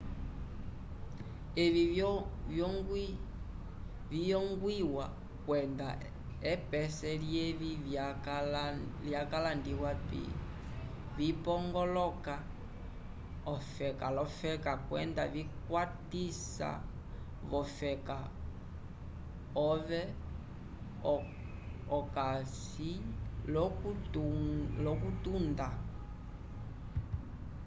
evi viyongwiwa kwenda epese lyevi vyalandiwa vipongoloka ofeka l'ofeka kwenda vikwatiwa v'ofeka ove okasi l'okutunda